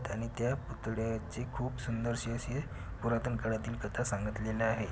त्यांनी त्या पुतळ्याचे खूप सुंदरसे असे पुरातन काळातीन कथा सांगतलेले आहे.